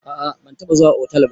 A a ban taɓa zuwa otal ba.